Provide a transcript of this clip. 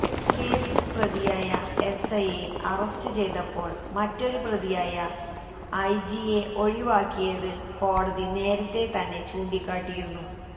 കേസില് പ്രതിയായ എസ് ഐയെ അറസ്റ്റ് ചെയ്തപ്പോള് മറ്റൊരു പ്രതിയായ ഐ ജിയെ ഒഴിവാക്കിയത്കോടതി നേരത്തെ തന്നെ ചൂണ്ടിക്കാട്ടിയിരുന്നു